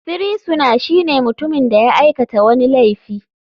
Firisuna shine mutumin da ya aikata wani laifi.